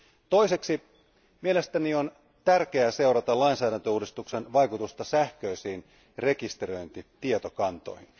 Toiseksi, mielestäni on tärkeää seurata lainsäädäntöuudistuksen vaikutusta sähköisiin rekisteröintitietokantoihin.